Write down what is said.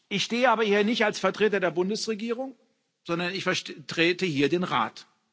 Ich stehe aber hier nicht als Vertreter der Bundesregierung, sondern ich vertrete hier den Rat.